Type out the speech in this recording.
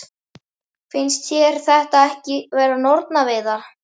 Finnst þér þetta ekki vera nornaveiðar?